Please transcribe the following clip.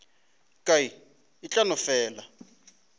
ka e tla no fela